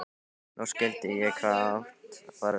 Nú skildi ég hvað átt var við.